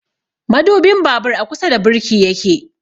Madubin babur a kusa da birki yake